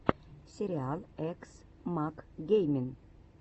сериал экс мак геймин